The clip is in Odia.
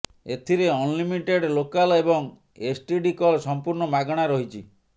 ଏଥିରେ ଅନଲିମିଟେଡ ଲୋକାଲ୍ ଏବଂ ଏସଟିଡି କଲ୍ ସମ୍ପୂର୍ଣ୍ଣ ମାଗଣା ରହିଛି